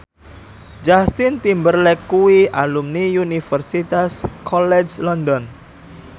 Justin Timberlake kuwi alumni Universitas College London